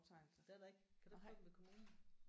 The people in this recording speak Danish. Det er der ikke? Kan du ikke få dem ved kommunen?